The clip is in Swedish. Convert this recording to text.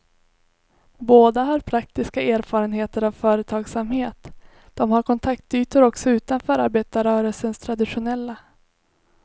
Båda har praktiska erfarenheter av företagsamhet, de har kontaktytor också utanför arbetarrörelsens traditionella.